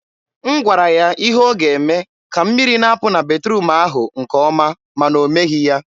m gwara ya ihe ọ ga-eme ka mmiri na-apụ na batruum ahụ nke ọma, ma na o meghị ya.